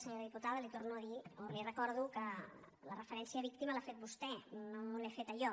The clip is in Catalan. senyora diputada li torno a dir o li recordo que la referència a víctima l’ha fet vostè no l’he feta jo